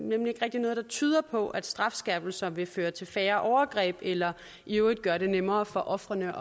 nemlig ikke rigtig noget der tyder på at strafskærpelser vil føre til færre overgreb eller i øvrigt gøre det nemmere for ofrene